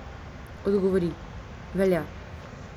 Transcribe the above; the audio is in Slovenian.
Odgovori: "Velja.